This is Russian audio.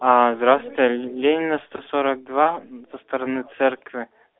здравствуйте ленина сто сорок два со стороны церкви